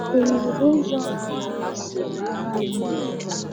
Ọ nwere ụzọ ọ bụla ha si bara anyị uru?